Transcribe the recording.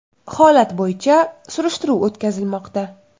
Holat bo‘yicha surishtiruv o‘tkazilmoqda.